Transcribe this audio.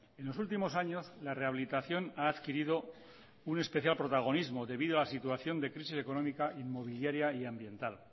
en los últimos años la rehabilitación ha adquirido un especial protagonismo debido a situación de crisis económica inmobiliaria y ambiental